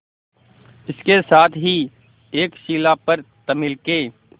इसके साथ ही एक शिला पर तमिल के